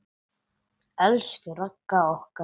Elsku Ragga okkar.